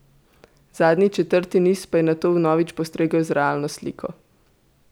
Zadnji, četrti niz pa je nato vnovič postregel z realno sliko.